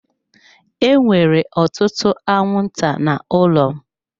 Enwere ọtụtụ anwụnta n'ụlọ m.